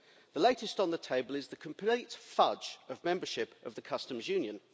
The latest on the table is the complete fudge of membership of the Customs Union.